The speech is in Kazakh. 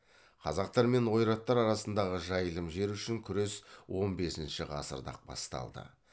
қазақтар мен ойраттар арасындағы жайылым жер үшін күрес он бесінші ғасырда ақ басталды